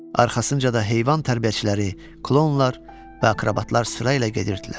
Arxasınca da heyvan tərbiyəçiləri, klounlar və akrobatlar sırayla gedirdilər.